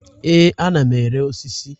Ee, ana m ere osisi.